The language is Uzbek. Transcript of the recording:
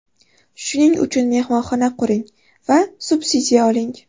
Shuning uchun mehmonxona quring va subsidiya oling”.